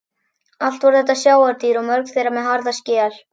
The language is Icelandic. Allt voru þetta sjávardýr og mörg þeirra með harða skel.